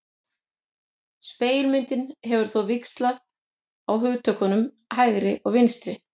Spegilmyndin hefur þó víxlað á hugtökunum hægri og vinstri.